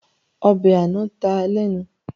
Ọbẹ̀ àná ta lẹ́nu